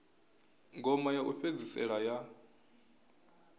ngoma ya u fhedzisela ya